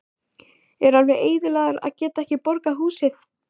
Er alveg eyðilagður að geta ekki borgað húsið.